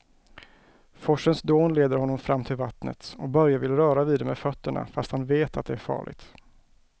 Forsens dån leder honom fram till vattnet och Börje vill röra vid det med fötterna, fast han vet att det är farligt.